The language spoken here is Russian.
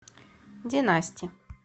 династи